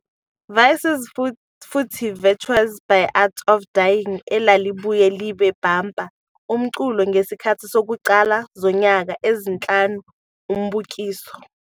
Vices futhi Virtues " by Art of Dying elalibuye libe bumper umculo ngesikhathi sokuqala zonyaka ezinhlanu umbukiso.